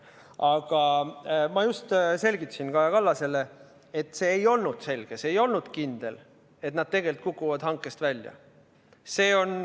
Aga ma just selgitasin Kaja Kallasele, et see ei olnud selge, see ei olnud kindel, et nad tegelikult kukuvad hankest välja.